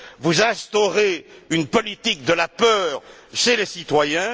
Vous instaurez une politique de la peur chez les citoyens.